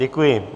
Děkuji.